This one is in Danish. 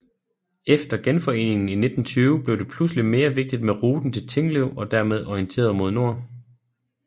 Efter Genforeningen i 1920 blev det pludselig mere vigtigt med ruten til Tinglev og dermed orienteret mod nord